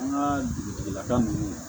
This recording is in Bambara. An ka dugutigilaka ninnu